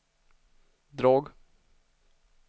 drag